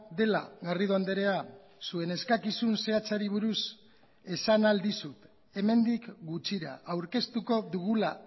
dela garrido andrea zuen eskakizun zehatzari buruz esan ahal dizut hemendik gutxira aurkeztuko dugula